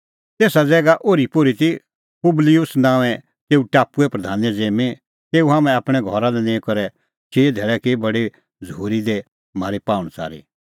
तेसा ज़ैगा ओरीपोरी ती पुबलिऊस नांओंऐं तेऊ टापुए प्रधाने ज़िम्मीं तेऊ हाम्हैं आपणैं घरा लै निंईं करै चिई धैल़ै की बडी झ़ूरी दी म्हारी पाहुंणच़ारी